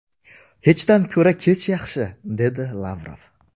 Hechdan ko‘ra kech yaxshi”, dedi Lavrov.